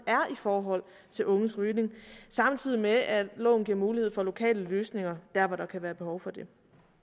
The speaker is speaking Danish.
er i forhold til unges rygning samtidig med at loven giver mulighed for lokale løsninger der hvor der kan være behov for det